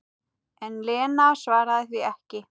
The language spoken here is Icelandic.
En Lena svaraði því ekki.